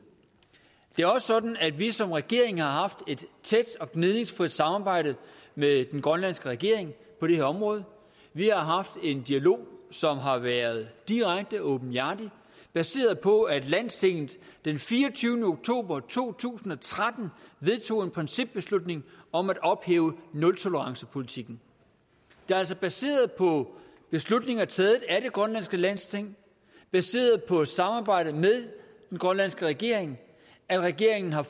det er også sådan at vi som regering har haft et tæt og gnidningsfrit samarbejde med den grønlandske regering på det her område vi har haft en dialog som har været direkte åbenhjertig og baseret på at landstinget den fireogtyvende oktober to tusind og tretten vedtog en principbeslutning om at ophæve nultolerancepolitikken det er altså baseret på beslutninger taget af det grønlandske landsting og baseret på samarbejde med den grønlandske regering at regeringen har